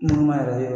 Nɔnɔ ma yɛrɛ